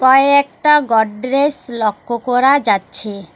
ওই একটা গডরেস লক্ষ্য করা যাচ্ছে।